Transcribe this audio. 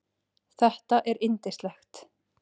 Þetta er yndislegt